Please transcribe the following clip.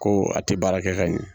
Ko a tɛ baara kɛ ka ɲɛ.